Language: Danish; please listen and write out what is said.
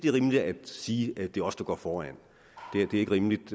rimeligt at sige at det er os der går foran det er ikke rimeligt